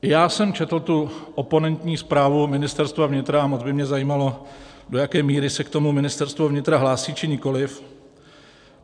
Já jsem četl tu oponentní zprávu Ministerstva vnitra a moc by mě zajímalo, do jaké míry se k tomu Ministerstvo vnitra hlásí, či nikoliv.